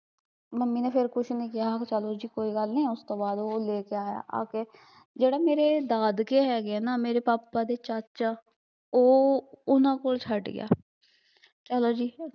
mummy ਨੇ ਫਿਰ ਕੁਸ਼ ਨੀ ਕਿਹਾ ਚਲੋ ਜੀ ਕੋਈ ਗੱਲ ਨੀ ਫਿਰ ਉਸਤੋਂ ਬਾਅਦ ਓਹ ਲੈ ਕੇ ਆਇਆ ਆਕੇ ਜਿਹੜਾ ਮੇਰੇ ਦਾਦਕੇ ਹੈਗੇ ਐ ਨਾ ਮੇਰੇ ਪਾਪਾ ਦੇ ਚਾਚਾ ਓਹ ਓਹਨਾਂ ਕੋਲ ਛੱਡ ਗਿਆ ਚਲੋ ਜੀ